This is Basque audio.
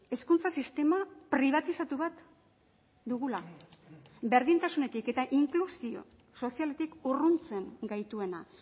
hezkuntza sistema pribatizatu bat dugula berdintasunetik eta inklusio sozialetik urruntzen gaituena